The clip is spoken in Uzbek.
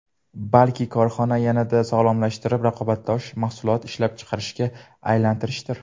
Balki, korxonani yanada sog‘lomlashtirib, raqobatbardosh mahsulot ishlab chiqarishga aylantirishdir”.